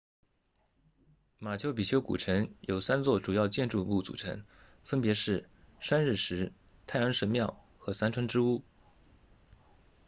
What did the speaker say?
马丘比丘古城由三座主要建筑物组成分别是拴日石 intihuatana 太阳神庙和三窗之屋